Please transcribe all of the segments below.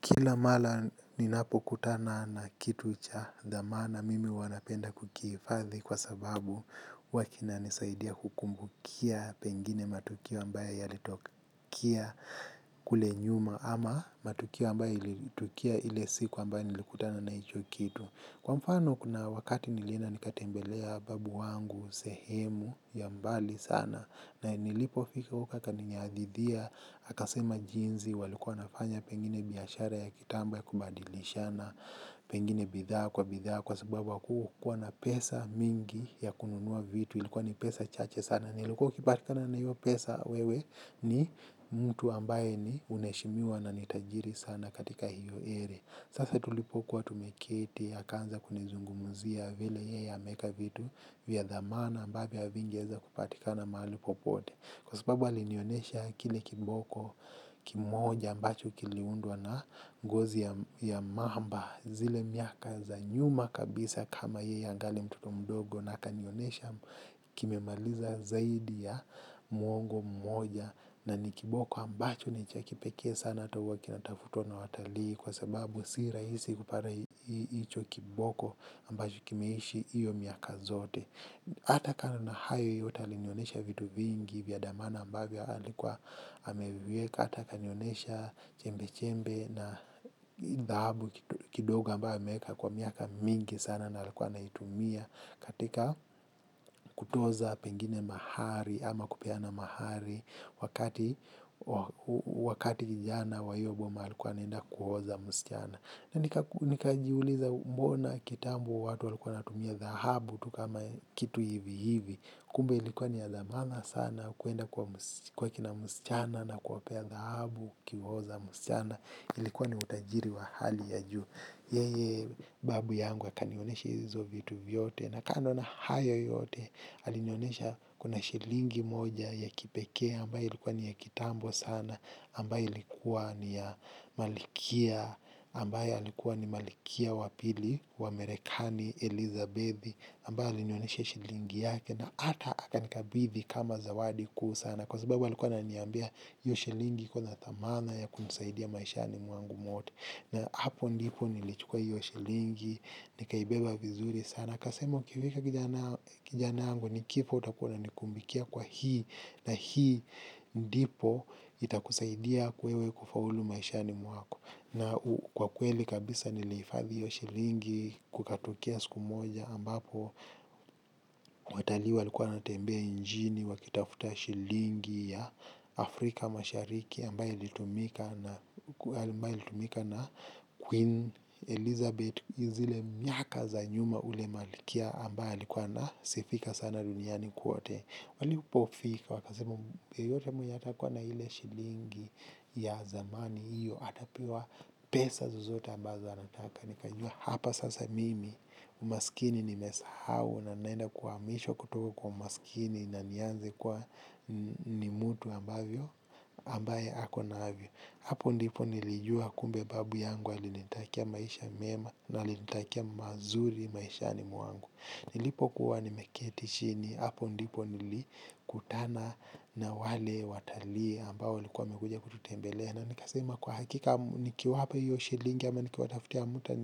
Kila mara ninapo kutana na kitu cha dhamana mimi huwa napenda kukihifadhi kwa sababu huwa kina nisaidia kukumbukia pengine matukio ambaye yalitokea kule nyuma ama matukio ambayo ilitokea ile siku ambayo nilikutana na hicho kitu. Kwa mfano kuna wakati nilienda nikatembelea babu wangu sehemu ya mbali sana na nilipofika huko aka nihadithia aka sema jinsi walikuwa wanafanya pengine biashara ya kitambo ya kubadilishana, pengine bidhaa kwa bidhaa kwa sababu hakukuwa na pesa mingi ya kununua vitu, ilikuwa ni pesa chache sana. Na nilikuwa ukipatikana na hiyo pesa wewe ni mtu ambaye ni unaheshimiwa na ni tajiri sana katika hiyo ere. Sasa tulipokuwa tumeketi akaanza kunizungumzia vile yeye ameweka vitu vya dhamana ambavyo havingeweza kupatikana mahali popote. Kwa sababu alinionesha kile kiboko kimoja ambacho kiliundwa na ngozi ya mamba zile miaka za nyuma kabisa kama yeye angali mtoto mdogo. Na akanionesha kimemaliza zaidi ya mwongo mmoja na ni kiboko ambacho ni cha kipekee sana hata huwa kinatafutwa na watalii kwa sababu si rahisi kupata hicho kiboko ambacho kimeishi iyo miaka zote hata kama na hayo yota alinyonesha vitu vingi vya damana ambabia alikuwa ameviweka ata kanyonesha chembe-chembe na dhabu kidoga ambayo ameweka kwa miaka mingi sana na alikuwa anaitumia katika kutoza pengine mahari ama kupeana mahari wakati wa wakati kijana wa hiyo boma alikuwa anaenda kuhoza msichana na nikajiuliza mbona kitambo watu walikuwa wanatumia dhahabu tu kama kitu hivi hivi kumbe ilikuwa ni ya dhamana sana kuenda kwa kwa kina msichana na kuwapea dhahabu ukihoza msichana ulikia ni utajiri wa hali ya juu yeye babu yangu akanionesha hizo vitu vyote na kando na hayo yote alinionesha kuna shilingi moja ya kipekee ambayo likuwa ni ya kitambo sana ambayo ilikuwa ni ya malkia ambaye alikuwa ni malkia wa pili wa merekani Elizabethi ambaye alinionyesha shilingi yake na hata aka nikabithi kama zawadi kuu sana kwa sababu alikuwa ana niambia hiyo shilingi iko na dhamana ya kunisaidia maishani mwangu mote na hapo ndipo nilichukuwa hiyo shilingi nikaibeba vizuri sana. Kasemo kivika kijanango nikipo utakuna nikumbikia kwa hii na hii ndipo itakusaidia wewe kufaulu maishani mwako. Na kwa kweli kabisa nilihifadhi hiyo shilingi kukatukia siku moja ambapo watalii walikuwa wanatembea nchini wakitafuta shilingi ya Afrika mashariki ambaye ilitumika na Queen Elizabeth zile miaka za nyuma ule malkia ambaye alikuwa ana sifika sana duniani kote. Walipofika wakasema yeyote mwenye atakuwa na ile shilingi ya zamani hiyo atapewa pesa zozote ambazo anataka. Nikajua hapa sasa mimi umaskini nimesahau na ninaenda kuhamishwa kutoko kwa umaskini. Na nianze kuwa ni mtu ambavyo ambaye ako na hapo ndipo nilijua kumbe babu yangu alinitakia maisha mema na alinitakia mazuri maishani mwangu. Nilipo kuwa nimeketi chini hapo ndipo nilikutana na wale watalii ambao walikuwa wamekuja kututembele na nikasema kwa hakika niki wapa hiyo shilingi ama nikiwa taftia amuta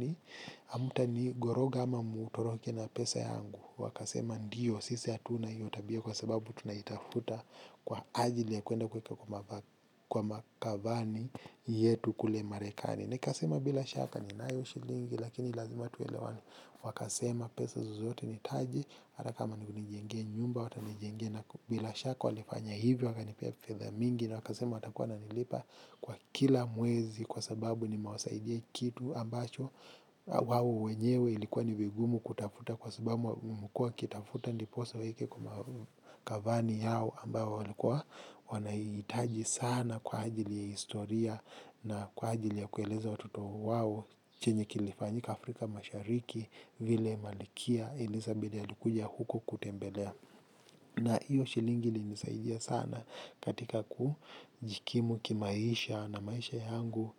ni goroga ama mutoroke na pesa yangu. Wakasema ndiyo sisi hatuna hiyo tabia kwa sababu tunaitafuta kwa ajili ya kuenda kwa makavani yetu kule marekani. Nekasema bila shaka ninayo shilingi lakini lazima tuelewane. Wakasema pesa zozote ni taje hata kama ni kunijenge nyumba wata nijenge na bila shaka walifanya hivyo waka nipia fedha mingi na wakasema watakuwa nanilipa kwa kila mwezi kwa sababu ni mawasaidia kitu ambacho wawo wenyewe ilikuwa ni vigumu kutafuta kwa sababu mkua kitafuta ndiposo waweke kwa kavani yao ambayo walikuwa wanahitaji sana kwa ajili ya historia na kwa ajili ya kueleza watoto wao chenye kilifanyika Afrika mashariki vile malkia Elizabeth alikuja huko kutembelea. Na hiyo shilingi ilinisaidia sana katika kujikimu kimaisha na maisha yangu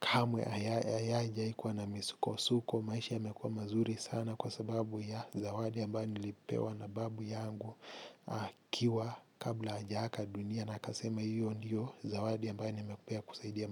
kamwe ayaja haikuwa na misuko suko. Maisha yamekuwa mazuri sana kwa sababu ya zawadi ambayo nilipewa na babu yangu akiwa kabla haja aga dunia. Na akasema hiyo ndiyo zawadi ambayo nimempea kusaidia.